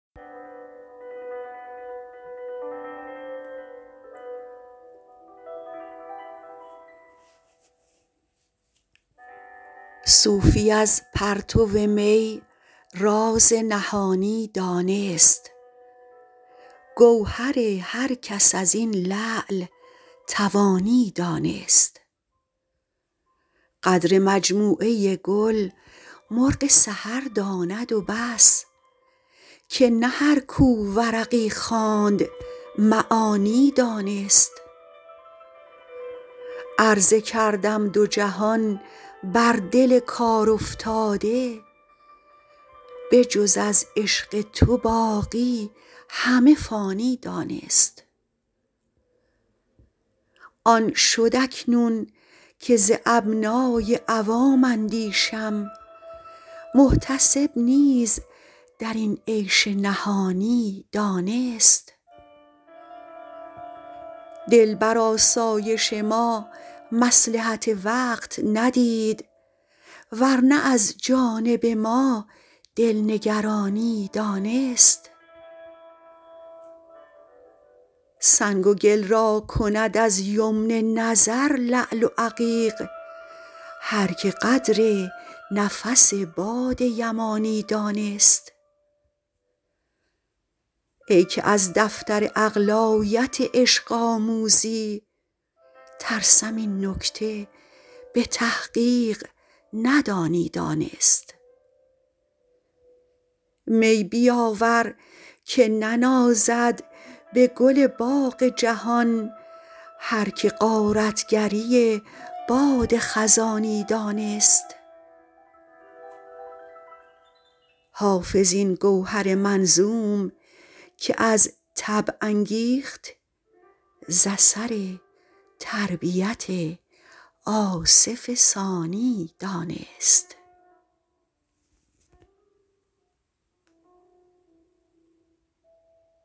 صوفی از پرتو می راز نهانی دانست گوهر هر کس از این لعل توانی دانست قدر مجموعه گل مرغ سحر داند و بس که نه هر کو ورقی خواند معانی دانست عرضه کردم دو جهان بر دل کارافتاده به جز از عشق تو باقی همه فانی دانست آن شد اکنون که ز ابنای عوام اندیشم محتسب نیز در این عیش نهانی دانست دل بر آسایش ما مصلحت وقت ندید ور نه از جانب ما دل نگرانی دانست سنگ و گل را کند از یمن نظر لعل و عقیق هر که قدر نفس باد یمانی دانست ای که از دفتر عقل آیت عشق آموزی ترسم این نکته به تحقیق ندانی دانست می بیاور که ننازد به گل باغ جهان هر که غارت گری باد خزانی دانست حافظ این گوهر منظوم که از طبع انگیخت ز اثر تربیت آصف ثانی دانست